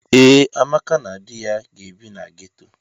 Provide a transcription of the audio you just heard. Ee, Amaka na di ya ga-ebi na geto.